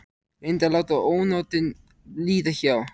Reyndi að láta ónotin líða hjá.